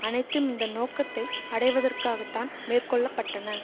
அனைத்தும் இந்த நோக்கத்தை அடைவதற்காகத்தான் மேற்கொள்ள பட்டன